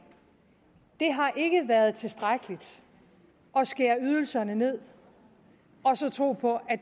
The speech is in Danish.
har ikke været tilstrækkeligt at skære ydelserne ned og så tro på at